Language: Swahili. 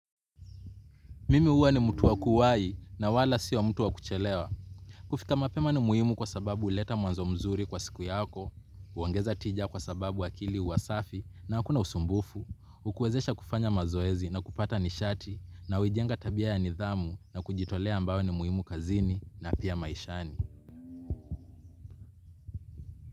Mimi huwa ni mtu wa kuwahi na wala sio mtu wa kuchelewa. Kufika mapema ni muhimu kwa sababu huleta mwanzo mzuri kwa siku yako, huongeza tija kwa sababu akili huwa safi na hakuna usumbufu, hukuwezesha kufanya mazoezi na kupata nishati, na huijenga tabia ya nidhamu na kujitolea ambayo ni muhimu kazini na pia maishani.